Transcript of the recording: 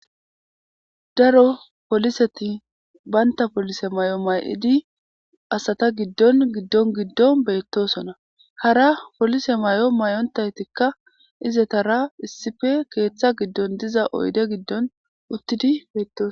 Daro poliseti baynta polise may7o may7idi asata giddon giddon giddon beettosona hara polise may7o may7ontaytikka izetara issife keeththa giddon diza oyde giddon uttidi beettos.